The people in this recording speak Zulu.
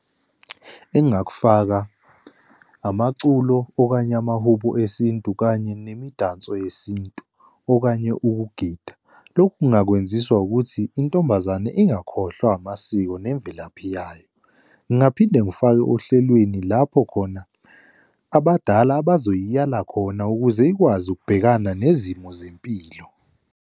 Engingakufaka, amaculo, okanye amahubo esintu, kanye nemidanso yesintu, okanye ukugida. Lokhu ngingakwenziswa ukuthi intombazane ingakhohlwa amasiko nemvelaphi yayo. Ngingaphinde ngifake ohlelweni, lapho khona abadala abazoyiyala khona ukuze ikwazi ukubhekana nezimo zempilo.